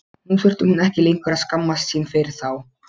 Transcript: Nú þurfti hún ekki lengur að skammast sín fyrir þá.